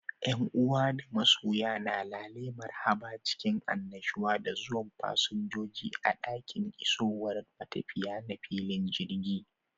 Ƴan uwa da masoya na lale marhabun cikin annushuwa da zuwan fasinjoji a ɗakin isowar matafiya na filin jirgi.